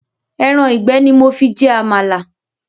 Ẹran ìgbẹ́ ni mo fi jẹ Àmàlà